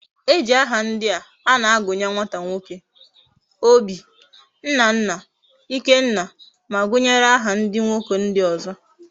Eji aha ndia ana agunye nwata nwoke; Obi, Nnanna, Ikenna, ma gunyere aha ndi nwoke ndi ozo